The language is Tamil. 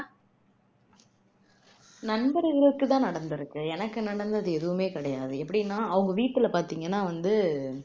நண்பர்களுக்கு தான் நடந்துருக்கு எனக்கு நடந்தது எதுவுமே கிடையாது எப்படின்னு பாத்தீங்கன்னா அவங்க வீட்டுல வந்து